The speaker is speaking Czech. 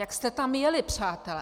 Jak jste tam jeli, přátelé?